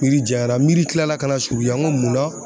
Miiri janya la miiri kila la ka na surunya n ko munna ?